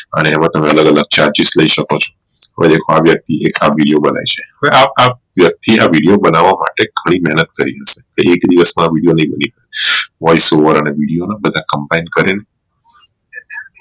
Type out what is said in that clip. અને અને તમે અલગ અલગ charges લઇ શકો છુ હવે આ વ્યક્તિ આ બી જો બનાઈ છે હવે આ વ્યક્તિ આ video બનાવા માટે ઘણી મેહનત કરી છે એક દિવસ માં video નાઈ બની શકે voice over અને video ને combine કરી ને